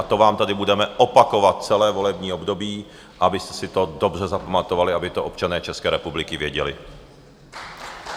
A to vám tady budeme opakovat celé volební období, abyste si to dobře zapamatovali, aby to občané České republiky věděli.